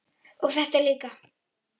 og þetta líka